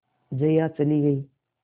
जया चली गई